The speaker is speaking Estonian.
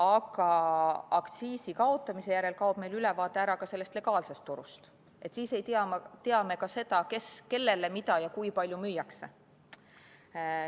Aga aktsiisi kaotamise järel kaob meil ülevaade ära ka legaalsest turust, siis ei tea me ka seda, kellele, mida ja kui palju müüakse.